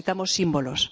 Necesitamos símbolos.